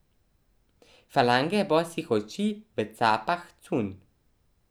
Falange bosih oči v capah cunj.